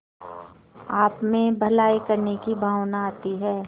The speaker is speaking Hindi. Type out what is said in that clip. आपमें भलाई करने की भावना आती है